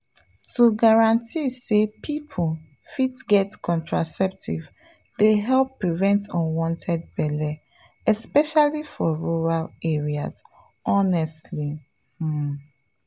to guarantee say people fit get contraceptives dey help prevent unwanted belle especially for rural areas honestly… pause.